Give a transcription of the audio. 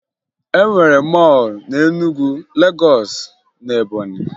E nwere mọọlụ na Enugwu, Legọọsụ, na Ebọnyị